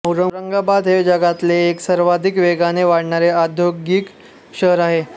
औरंगाबाद हे जगातले एक सर्वाधिक वेगाने वाढणारे औद्यौगिक शहर आहे